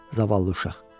zavallı uşaq.